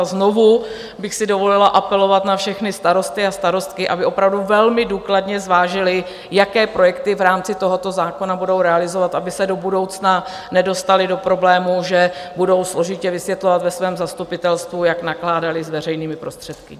A znovu bych si dovolila apelovat na všechny starosty a starostky, aby opravdu velmi důkladně zvážili, jaké projekty v rámci tohoto zákona budou realizovat, aby se do budoucna nedostali do problémů, že budou složitě vysvětlovat ve svém zastupitelstvu, jak nakládali s veřejnými prostředky.